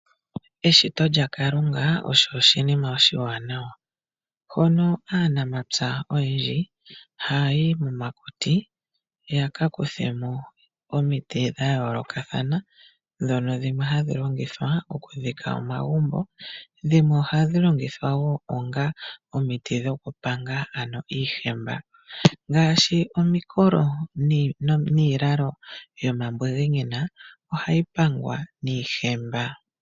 Eshito lya Kalunga osho oshinima oshiwanawa, hono aanamapya oyendji haya yi momakuti ya ka kuthemo omiti dha yoolokathana dhono dhimwe hadhi longithwa okudhika omagumbo. Dhimwe ohadhi longithwa wo onga omiti dhokupanga ano iihemba, ngaashi omikolo iilalo yomambungunyina ohayi pangwa niihemba.